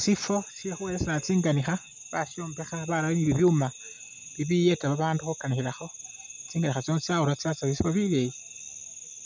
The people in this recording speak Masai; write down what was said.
Sifo shyekhuwelesela tsinganikha bashombekha barayo ni bibyuuma bibiyeta babandu khukanikhilakho tsinganikha tsino tsyabira tsyatsya mubifo bileyi